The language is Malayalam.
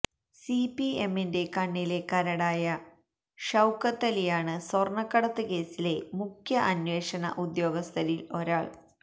സിപിഎമ്മിന്റെ കണ്ണിലെ കരടായ ഷൌക്കത്തലിയാണ് സ്വർണക്കടത്ത് കേസിലെ മുഖ്യ അന്വേഷണ ഉദ്യോഗസ്ഥരിൽ ഒരാൾ